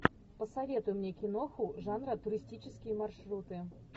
посоветуй мне киноху жанра туристические маршруты